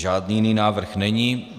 Žádný jiný návrh není.